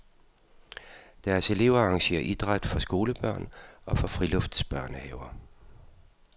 Deres elever arrangerer idræt for skolebørn og for friluftsbørnehaver.